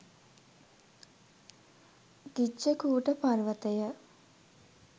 ගිජ්ජකූට පර්වතය